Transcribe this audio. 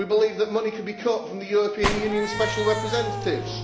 We believe that money could be cut from the European Union special representatives.